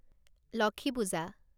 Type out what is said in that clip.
Lakshmi Puja